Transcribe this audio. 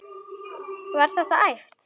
Var þetta æft?